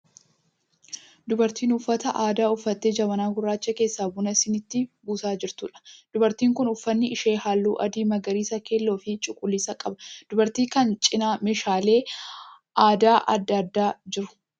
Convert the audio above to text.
Dubartii uffata aadaa uffattee jabanaa gurraacha keessaa buna siniitti buusaa jirtuudha. Dubartiin kun uffanni ishee halluu adii, magariisaa, keelloo fi cuquliisa qaba. Dubartii kana cina meeshaaleen aadaa adda addaa jiru.